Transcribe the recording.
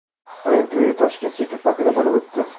Uning to‘yi Tashket City parkida bo‘lib o‘tdi.